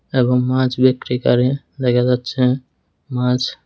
এবং মাছ বিক্রিকারী দেখা যাচ্ছে মাছ।